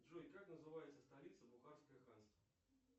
джой как называется столица бухарское ханство